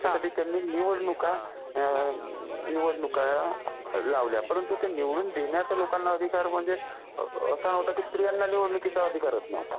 त्याच्यासाठी त्यांनी निवडणुका लावल्या परंतु ते निवडून देण्याचा लोकांना अधिकार म्हणजे असा होता की स्त्रियांना निवडणुकीचा अधिकारच नव्हता.